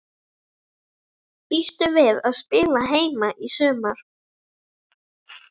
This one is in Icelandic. Býstu við að spila heima í sumar?